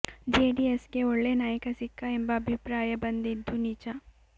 JDS ಗೆ ಒಳ್ಳೆ ನಾಯಕ ಸಿಕ್ಕ ಎಂಬ ಅಭಿಪ್ರಾಯ ಬಂದಿದ್ದು ನಿಜ